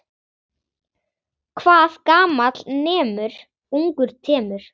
Hvað gamall nemur, ungur temur!